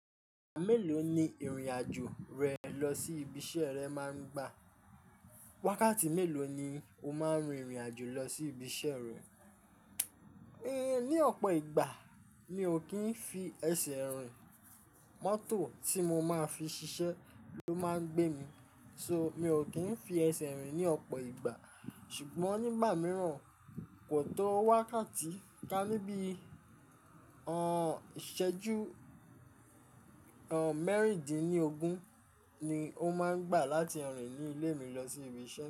Mélòó ni ìrìnàjò rẹ lọ sí ibi iṣẹ́ rẹ máa ń gbà? Wákàtí mélòó ni o máa ń rin ìrìnàjò lọ sí ibi iṣẹ́ rẹ? Ehn, ní ọ̀pọ̀ ìgbà mi ò kí ń fi ẹsẹ̀ rìn, mọ́tò tí mo máa fi ṣiṣẹ́ ló máa ń gbé mi. So, mi ò kí ń fi ẹsẹ̀ rìn ní ọ̀pọ̀ ìgbà. Ṣùgbọ́n nígbà mìíràn, kò tó wákàtí ká níbí, ehn, ìṣẹ́jú, ehn, mẹ́rìndínlógún ni ó máa ń gbà láti rìn ní ilé mi lọ sí ibi iṣẹ́